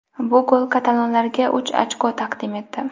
Bu gol katalonlarga uch ochko taqdim etdi.